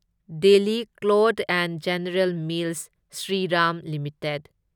Delhi cloth and general mills Shriram limited